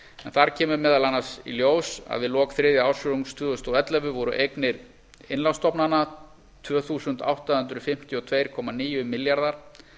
þar kemur meðal annars í ljós að við lok þriðja ársfjórðungs tvö þúsund og ellefu voru eignir innlánsstofnana tvö þúsund átta hundruð fimmtíu og tvö komma níu milljarðar